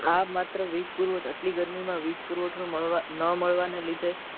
આ માત્ર વીજ પુરવઠ આટલી ગતમી માં વીજ પુરવઠો મળવાન ન મળવાના લીધે